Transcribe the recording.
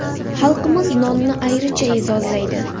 Xalqimiz nonni ayricha e’zozlaydi.